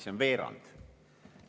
See on veerand.